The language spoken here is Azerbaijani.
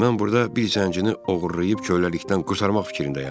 Mən burada bir zəncini oğurlayıb köləlikdən qurtarmaq fikrindəyəm.